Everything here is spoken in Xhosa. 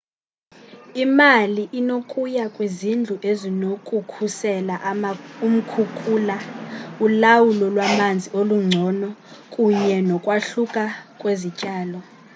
imali inokuya kwizindlu ezinokukhusela umkhukula ulawulo lwamanzi olungcono kunye nokwahluka kwezityalo